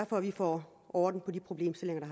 for at vi får orden på de problemstillinger